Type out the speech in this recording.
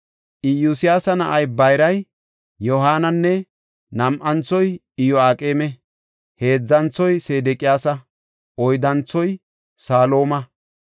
Iyosyaasa na7ay bayray Yohaanana; nam7anthoy Iyo7aaqeme; heedzanthoy Sedeqiyaasa; oyddanthoy Salooma.